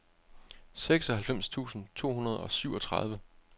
seksoghalvfems tusind to hundrede og syvogtredive